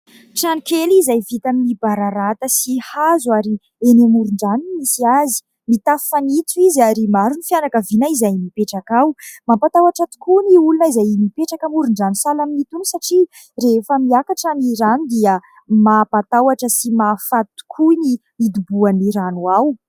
Trano kely izay vita amin'ny bararata sy hazo ary eny amoron-drano no misy azy. Mitafo fanitso izy ary maro ny fianakaviana izay mipetraka ao. Mampatahotra tokoa ny olona izay mipetraka amoron-drano sahala amin'itony satria rehefa miakatra ny rano dia mampatahotra sy mahafaty tokoa ny hidoboan'ny rano ao.